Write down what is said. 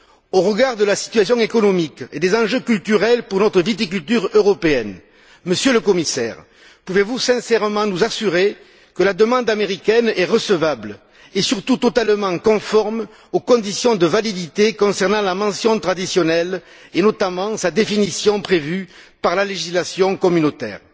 Au regard de la situation économique et des enjeux culturels pour notre viticulture européenne, Monsieur le Commissaire, pouvez vous sincèrement nous assurer que la demande américaine est recevable et surtout totalement conforme aux conditions de validité concernant la mention traditionnelle et, notamment, sa définition prévue par la législation communautaire?